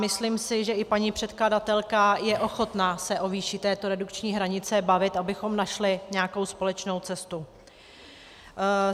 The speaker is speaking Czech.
Myslím si, že i paní předkladatelka je ochotná se o výši této redukční hranice bavit, abychom našli nějakou společnou cestu.